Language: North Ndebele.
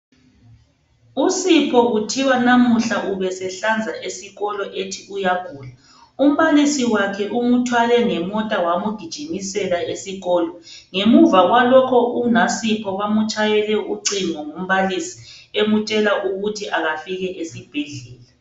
USipho kuthiwa namuhla ubesehlanza esikolo ethi uyagula umbalisi wakhe umthwale ngemota wamgijimisela esibhendlela ngemuva kwalokho unaSipho bamatshayele ucingo ngumbalisi emtshela ukuthi akafike esibhedlela.